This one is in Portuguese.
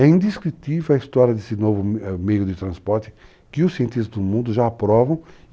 É indescritível a história desse novo meio de transporte que os cientistas do mundo já aprovam.